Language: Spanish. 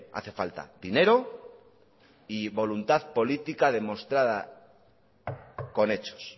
hace falta dinero y voluntad política demostrada con hechos